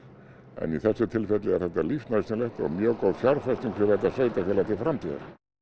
en í þessu tilviki er þetta lífsnauðsynlegt og mjög góð fjárfesting fyrir þetta sveitarfélag til framtíðar